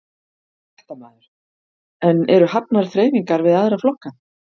Fréttamaður: En eru hafnar þreifingar við aðra flokka?